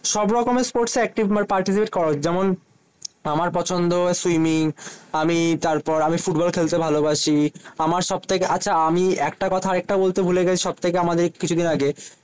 সব রকমের sports active participate করা উচিত। যেমন আমার পছন্দ সুইমিং। আমি তারপর আমি ফুটবল খেলতে ভালোবাসি। আমার সবথেকে আচ্ছা আমি একটা কথা আর একটা বলতে ভুলে গেছি সব থেকে আমাদের কিছুদিন আগে,